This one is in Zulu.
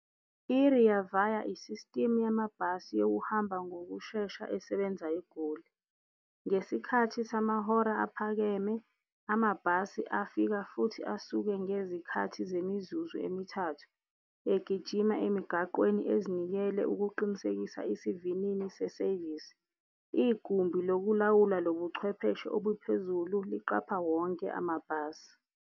I-Rea Vaya i-system yamabhasi yokuhamba ngokushesha esebenza eGoli. Ngesikhathi samahora aphakeme amabhasi afika futhi asuke ngezikhathi zemizuzu emithathu egijima emigaqweni ezinikele ukuqinisekisa isivinini se-service. Igumbi lokulawula lo buchwepheshe obuphezulu liqapha wonke amabhasi.